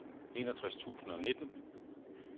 enogtres tusind og nitten